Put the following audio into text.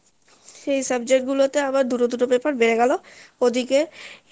সেই subject গুলোতে আবার দুটো দুটো paper